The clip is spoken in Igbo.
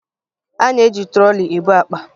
A na-eji trọlị ebu akpa